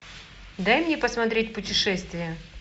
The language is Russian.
дай мне посмотреть путешествия